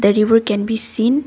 a river can be seen.